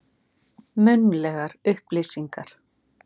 Munnlegar upplýsingar.